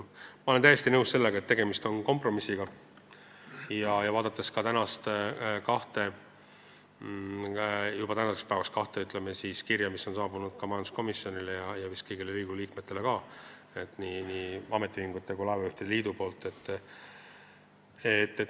Ma olen täiesti nõus sellega, et tegemist on kompromissiga, vaadates ka kahte kirja, mis on juba saabunud majanduskomisjonile ja vist ka kõigile Riigikogu liikmetele nii ametiühingutelt kui laevajuhtide liidult.